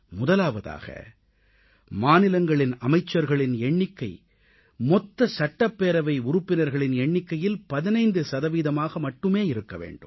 முதலாவதாக மாநிலங்களின் அமைச்சர்களின் எண்ணிக்கை மொத்த சட்டப்பேரவை உறுப்பினர்களின் எண்ணிக்கையில் 15 சதவீதமாக மட்டுமே இருக்க வேண்டும்